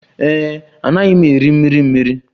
Ee e, anaghị m eri mmiri mmiri.